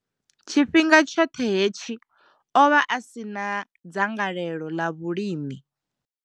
Tshifhinga tshoṱhe hetshi ovha a si na dzangalelo ḽa vhulimi.